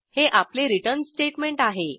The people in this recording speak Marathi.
हे आपले रिटर्न स्टेटमेंट आहे